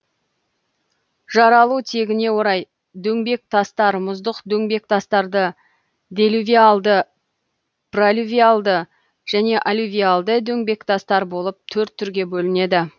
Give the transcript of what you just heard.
жаралу тегіне орай дөңбектастар мұздық дөңбектастарды делювиальды пролювиальды және аллювиальды дөңбектастар болып төрт түрге бөлінеді